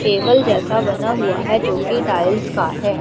Table जैसा बना हुआ है जो की टाइल्स का है।